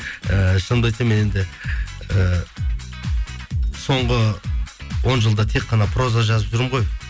ііі шынымды айтсам мен еді і соңғы он жылда тек қана проза жазып жүрмін ғой